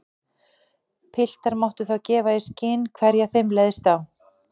Piltar máttu þá gefa í skyn hverja þeim leist á.